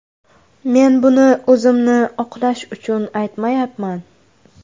Men buni o‘zimni oqlash uchun aytmayapman.